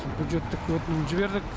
бюджеттік өтінім жібердік